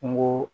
Kungo